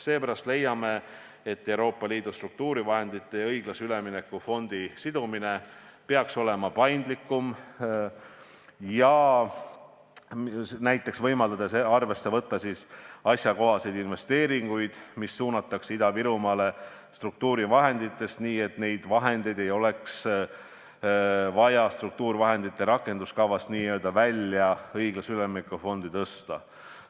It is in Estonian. Seepärast leiame, et Euroopa Liidu struktuurivahendite ja õiglase ülemineku fondi sidumine peaks olema paindlikum, näiteks võimaldades arvesse võtta asjakohaseid investeeringuid, mis suunatakse struktuurivahenditest Ida-Virumaale nii, et neid vahendeid poleks vaja struktuurivahendite rakenduskavast välja, õiglase ülemineku fondi tõsta.